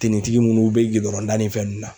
Tenitigi munnu be gidɔrɔnda ni fɛn nun na